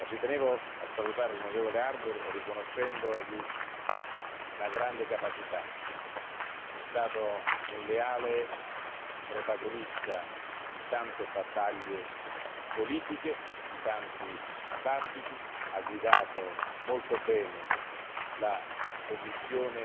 Tengo a salutare l'onorevole Harbour riconoscendogli una grande capacità è stato un leale protagonista di tante battaglie politiche, di tanti dibattiti, ha guidato molto bene la commissione,